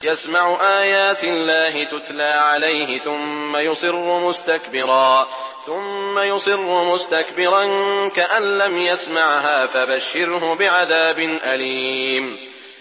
يَسْمَعُ آيَاتِ اللَّهِ تُتْلَىٰ عَلَيْهِ ثُمَّ يُصِرُّ مُسْتَكْبِرًا كَأَن لَّمْ يَسْمَعْهَا ۖ فَبَشِّرْهُ بِعَذَابٍ أَلِيمٍ